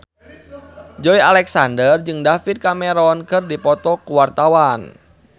Joey Alexander jeung David Cameron keur dipoto ku wartawan